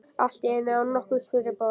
Allt í einu, án nokkurs fyrirboða.